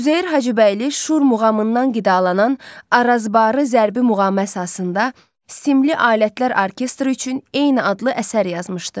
Üzeyir Hacıbəyli Şur muğamından qidalanan Arazbarı zərbi muğamı əsasında simli alətlər orkestri üçün eyni adlı əsər yazmışdı.